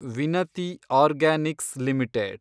Vinati Organics limited